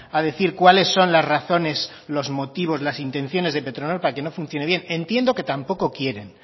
a decir cuáles son las razones los motivos las intenciones de petronor para que no funcione bien entiendo que tampoco quieren